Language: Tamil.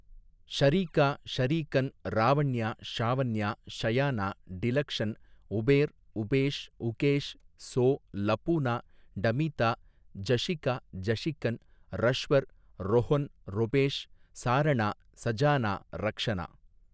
ஷறீகா ஷறீகன் ராவண்யா ஷாவண்யா ஷயானா டிலக்ஷன் உபேர் உபேஷ் உகேஷ் சோ லபூனா டமீத்தா ஜஷிகா ஜஷிகன் றஷ்வர் றொஹொன் றொபேஷ் சாரணா சஜானா ரக்ஷணா.